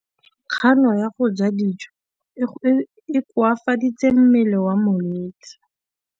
Kganô ya go ja dijo e koafaditse mmele wa molwetse.